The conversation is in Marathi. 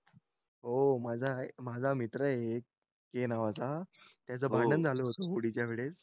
हो माझा मित्र आहे एक ए नावाचा त्याचं भांडण झालं होतं होळीच्यावेळेस